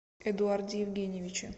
эдуарде евгеньевиче